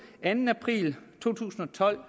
anden april to tusind og tolv